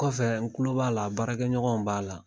Kɔfɛ n kulo b'a la baarakɛɲɔgɔnw b'a la